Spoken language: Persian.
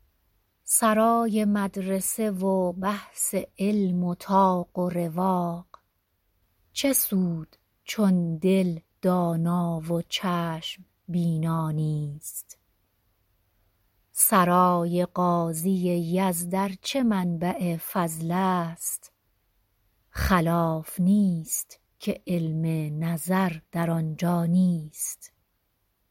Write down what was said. سرای مدرسه و بحث علم و طاق و رواق چه سود چون دل دانا و چشم بینا نیست سرای قاضی یزد ارچه منبع فضل است خلاف نیست که علم نظر در آن جا نیست